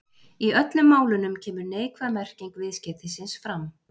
Í öllum málunum kemur neikvæð merking viðskeytisins fram.